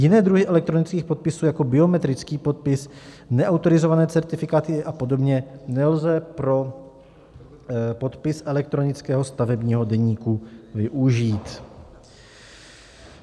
Jiné druhy elektronických podpisů jako biometrický podpis, neautorizované certifikáty a podobně nelze pro podpis elektronického stavebního deníku využít.